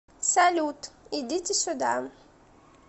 салют идите сюда